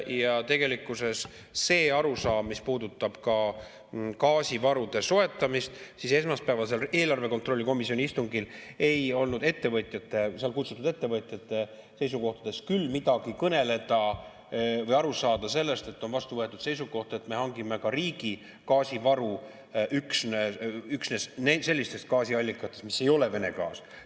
Ja tegelikkuses, mis puudutab gaasivarude soetamist, siis esmaspäevasel eelarve kontrolli komisjoni istungil ei olnud sinna kutsutud ettevõtjate seisukohtadest küll midagi kõneleda või aru saada, et on vastu võetud seisukoht, et me hangime ka riigi gaasivaru üksnes sellistest gaasiallikatest, kust ei tule Vene gaas.